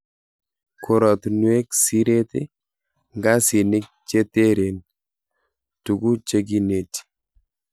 Koratunuek, siret ,ngasinik che teren, tuku che kineti.